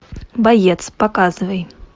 боец показывай